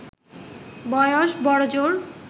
বয়স বড়জোর